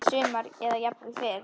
Næsta sumar eða jafnvel fyrr.